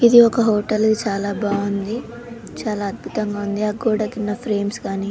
ఇది ఒక హోటల్ ఇది చాలా బాగుంది చాలా అద్భుతంగా ఉంది ఆ గోడ కున్న ఫ్రేమ్స్ గాని--